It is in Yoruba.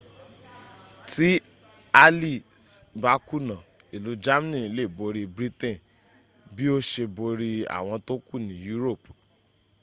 tí allies bá kùnà ìlú germany lè borí britain bí ó ṣe borí àwọn tókù ní europe